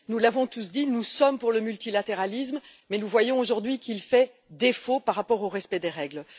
Nous l'avons tous dit, nous sommes pour le multilatéralisme, mais nous voyons aujourd'hui qu'il fait défaut par rapport au respect des règles.